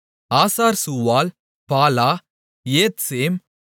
ஆசார்சூவால் பாலா ஏத்சேம்